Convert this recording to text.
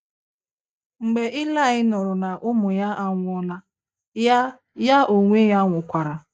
Mgbe Ilaị nụrụ na ụmụ ya anwụọla, ya ya onwe ya nwụkwara.